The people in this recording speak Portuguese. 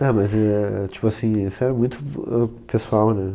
É, mas é, tipo assim, isso é muito, ãh, pessoal, né?